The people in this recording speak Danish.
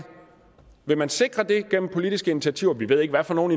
vil man sikre det gennem politiske initiativer vi ved ikke hvad for nogle